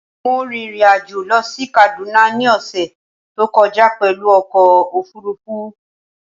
Mo rin ìrìn-àjò lọ sí Kaduna ní ọ̀ṣẹ̀ tó kọjá pẹ̀lú ọkọ̀ òfurufú